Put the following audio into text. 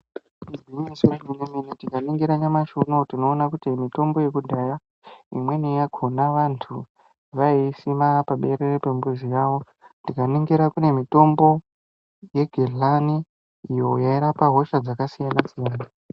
Igwinyiso remene-mene, tikaningira nyamashi unowu tinoona kuti mitombo yekudhaya imweni yakhona vantu vaiisima paberere pemizi yawo. Tikaningira kune mitombo yegedhlani iyo yairapa hosha dzakasiyana-siyana.